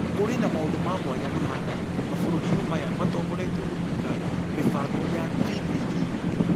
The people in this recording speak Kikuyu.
Kũrĩ na maũndũ ma mwanya mahanaine mabũrũri-inĩ maya matongoretio nĩ thirikari Mĩbango ya TPD.